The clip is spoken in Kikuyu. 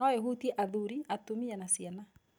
No ĩhutie athuri, atumia na ciana